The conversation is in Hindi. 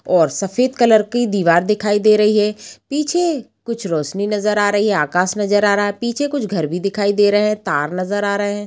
और सफेद कलर की दिवार दिखाई दे रही है पीछे कुछ रोशनी नजर आ रही है आकाश नजर आ रहा है पीछे कुछ घर भी दिखाई दे रहे है तार नजर आ रहे हैं ।